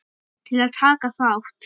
Til að taka þátt